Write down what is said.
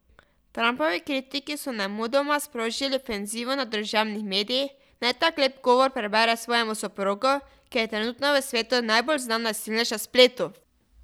Trumpovi kritiki so nemudoma sprožili ofenzivo na družabnih medijih, naj tak lep govor prebere svojemu soprogu, ki je trenutno v svetu najbolj znan nasilnež na spletu.